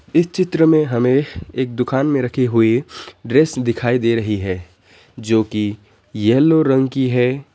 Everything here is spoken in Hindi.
इस चित्र में हमें एक दुकान में रखी हुई ड्रेस दिखाई दे रही है जो की येलो रंग की है।